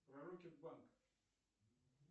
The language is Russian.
про рокетбанк